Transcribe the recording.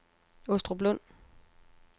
Åstruplund